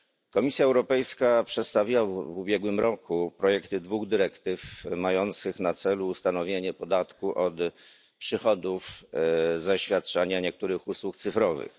Komisja Europejska przedstawiła w ubiegłym roku projekty dwóch dyrektyw mających na celu ustanowienie podatku od przychodów za świadczenie niektórych usług cyfrowych.